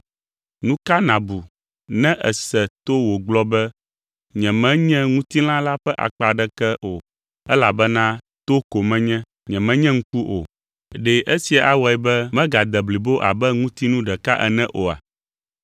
Nu ka nàbu ne èse to wògblɔ be, “Nyemenye ŋutilã la ƒe akpa aɖeke o elabena to ko menye, nyemenye ŋku o”? Ɖe esia awɔe be megade blibo abe ŋutinu ɖeka ene oa?